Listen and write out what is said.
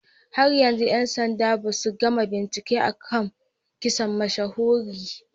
Har yanzu 'yan sanda basu gama bincike a kan kisar mashahuri